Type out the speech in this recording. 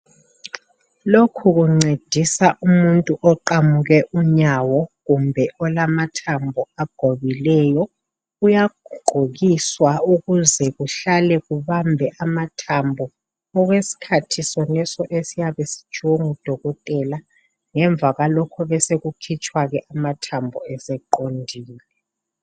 Lokhu kuncedisa umuntu oqamuke unyawo kumbe lamathambo agobileyo uyagqokiswa ukuze kuhlale kubambe amathambo okwesikhathi soneso esiyabe sitshiwo ngudokotela ngemva kwalokho besekukhitshwa ke amathambo eseqondile.